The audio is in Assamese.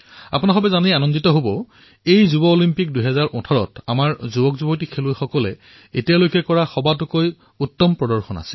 আপোনালোকে এয়া জানি সন্তোষ পাব যে ইয়থ অলিম্পিকছ ২০১৮ত আমাৰ খেলুৱৈসকলে এইবাৰ আগতকৈও উন্নত প্ৰদৰ্শন কৰিছে